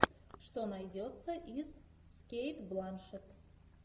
что найдется из с кейт бланшетт